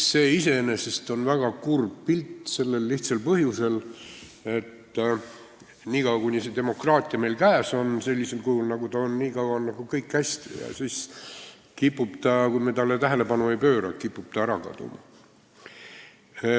See on iseenesest väga kurb pilt sellel lihtsal põhjusel, et niikaua, kuni see demokraatia meil käes on sellisel kujul, nagu ta on, on kõik hästi, aga siis, kui me talle tähelepanu ei pööra, kipub ta ära kaduma.